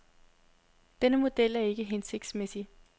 Denne model er ikke hensigtsmæssig.